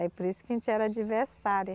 Aí por isso que a gente era adversária.